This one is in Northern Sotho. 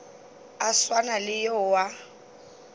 a swana le yo a